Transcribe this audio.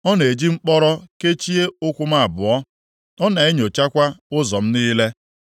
Ọ na-eji mkpọrọ kechie ụkwụ m abụọ; ọ na-enyochakwa ụzọ m niile.’